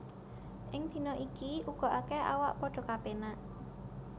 Ing dina iku uga akèh awak padha kapénak